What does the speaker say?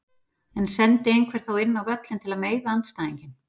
En sendi einhver þá inn á völlinn til að meiða andstæðinginn?